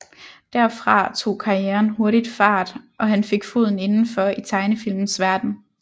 Derfra tog karrieren hurtigt fart og han fik foden indenfor i tegnefilmens verden